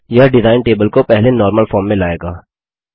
यह design table को पहले नॉर्मल फॉर्म में लाएगा